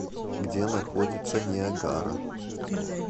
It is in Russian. где находится ниагара